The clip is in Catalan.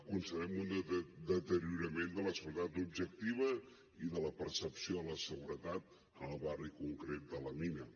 constatem un deteriorament de la seguretat objectiva i de la percepció de la seguretat en el barri concret de la mina